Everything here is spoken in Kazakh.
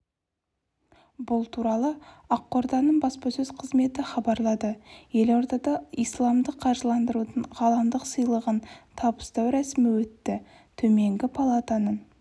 бұл туралы ақорданың баспасөз қызметі хабарлады елордада исламдық қаржыландырудың ғаламдық сыйлығын табыстау рәсімі өтті төменгі палатаның